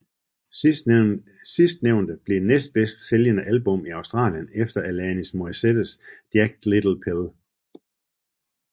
Sidstnævnte blev det næstbedst sælgende album i Australien efter Alanis Morissettes Jagged Little Pill